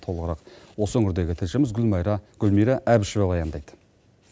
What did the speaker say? толығырақ осы өңірдегі тілшіміз гүлмайра гүлмира әбішева баяндайды